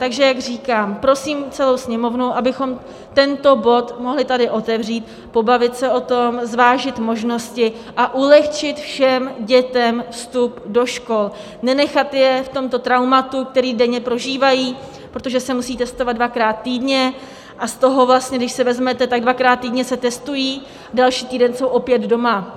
Takže jak říkám, prosím celou Sněmovnu, abychom tento bod mohli tady otevřít, pobavit se o tom, zvážit možnosti a ulehčit všem dětem vstup do škol, nenechat je v tomto traumatu, které denně prožívají, protože se musí testovat dvakrát týdně, a z toho vlastně, když si vezmete, tak dvakrát týdně se testují, další týden jsou opět doma.